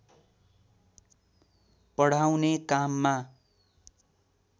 पढाउने काममा